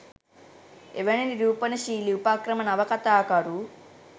එවැනි නිරූපණශීලී උපක්‍රම නවකතාකරු